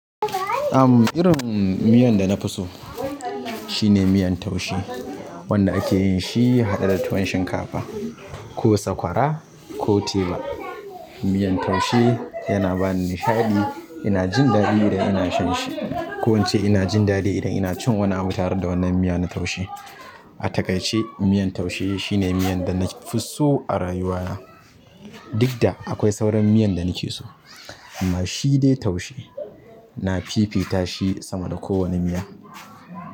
Am, irin miyan da na fi so shine miyan taushe wanda ake yin shi haɗe da tuwon shinkafa ko sakwara ko teba. Miyar taushe yana ba ni nishaɗi. Ina jin daɗi idan ina shan shi ko ince ina jin daɗi idan ina cin wani abun tare da wannan miya na taushe. A takaice miyan taushe shine miyan da na fi so a rayuwa na. Duk da akwai sauran miyan da nake so amma shi dai taushe. Na fifita shi sama da kowane miya.